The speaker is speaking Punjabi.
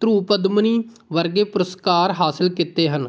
ਧਰੁਪਦਮਨੀ ਵਰਗੇ ਪੁਰਸਕਾਰ ਹਾਸਿਲ ਕੀਤੇ ਹਨ